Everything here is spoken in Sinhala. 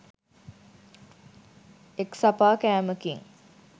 එක්සපා කෑමකින්